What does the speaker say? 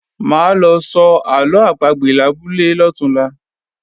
Máa lọ sọ àlọ́ àpagbè labúlé lọ̀túnla